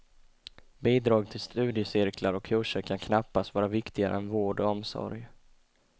Bidrag till studiecirklar och kurser kan knappast vara viktigare än vård och omsorg.